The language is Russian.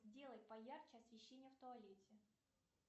сделай поярче освещение в туалете